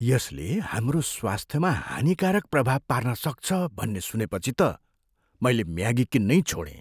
यसले हाम्रो स्वास्थ्यमा हानिकारक प्रभाव पार्न सक्छ भन्ने सुनेपछि त मैले म्यागी किन्नै छोडेँ।